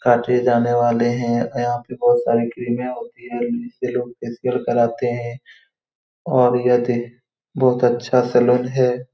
काटे जाने वाले हैं यहाँ पर बहुत सारी क्रीमें होती है जिससे लोग फेशियल करवाते हैं और यह बहुत अच्छा सैलून है।